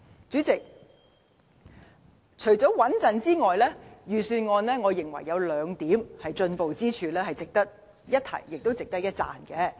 主席，除了平穩，預算案亦有兩個進步之處，值得一提，也值得一讚。